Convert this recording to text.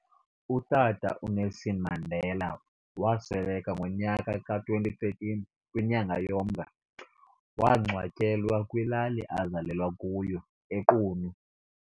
UTata uNelson Mandela wasweleka kunyaka ka2013 kwinyanga yoMnga, wangcwatyewa kwilali azalelwa kuyo eQunu.